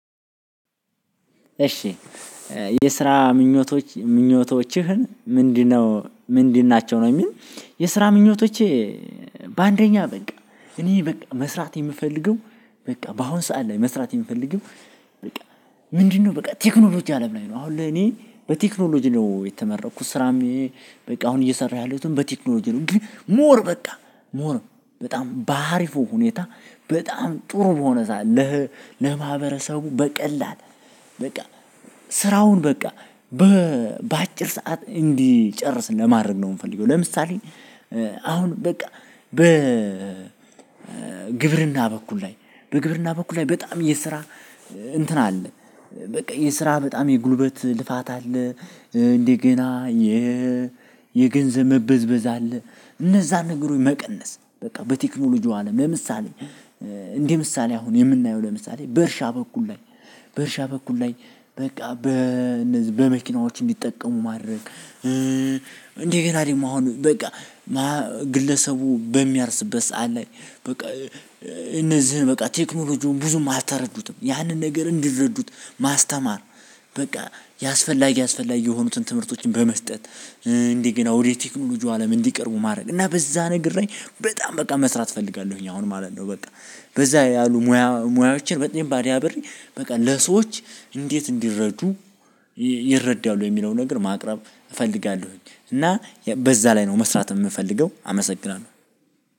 እሺ የስራ ምኞቶችህን ምንድነው? ምንድናቸው ነው የሚል የስራ ምኞቶቸ በአንደኛ በቃ እኔ በቃ መስራት የምፈልገው በቃ በአሁን ሰዓት ላይ መስራት የምፈልገው በቃ ምንድነው በቃ ቴክኖሎጂ አለም ላይ ነው አሁን ለኔ በቴክኖሎጂ ነው የተመረኩት ስራም በቃ አሁን እየሰራሁ ያለሁትም በቴክኖሎጂ ነው ግን ሞር በቃ ሞር በጣም ባሪፉ ሁኔታ በጣም ጥሩ በሆነ ለማህበረሰቡ በቀላል በቃ ስራውን በቃ በአጭር ሰዓት እንዲጨርስ ለማድረግ ነው የምፈልገው። ለምሳሌ፦ አሁን በቃ በ ግብርና በኩል ላይ በግብርና በኩል ላይ በጣም የስራ እንትን አለ በቃ የስራ በጣም የጉልበት ልፋት አለ እንደገና። የገንዘብ መበዝበዝ አለ እነዛን ነገሮች መቀነስ በቃ በቴክኖሎጂው አለም። ለምሳሌ፦ እንደ ምሳሌ አሁን የምናየው ለምሳሌ በእርሻ በኩል ላይ በእርሻ በኩል ላይ በቃ በመኪናዎች እንዲጠቀሙ ማድረግ እንደገና ደግሞ አሁን በቃ ግለሰቡ በሚያርስበት ሰዓት ላይ በቃ እነዚህን በቃ ቴክኖሎጂውን ብዙ አልተረዱትም ያንን ነገር እንዲረዱት ማስተማር በቃ ያስፈላጊ ያስፈላጊ የሆኑትን ትምህርቶችን በመስጠት እንደገና ወደ ቴክኖሎጂው አለም እንዲቀርቡ ማድረግ እና በዛ ነገር ላይ በጣም በቃ መስራት እፈልጋለሁኝ። አሁን ማለት ነው በቃ በዛ ያሉ ሙያ ሙያዎችን በደንብ አዳብሬ በቃ ለሰዎች እንዴት እንዲረዱ ይረዳሉ የሚለውን ነገር ማቅረብ እፈልጋለሁኝ እና በዛ ላይ ነው መስራት የምፈልገው አመሰግናለሁ።